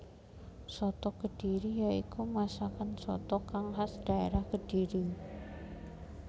Soto kediri ya iku masakan soto kang khas dhaérah Kediri